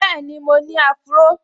Bẹ́ẹ̀ni, mo ní áfúró